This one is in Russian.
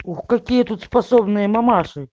ух какие тут способные мамаши